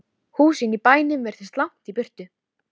Ég hafði víst orð á þessu við hana Drífu.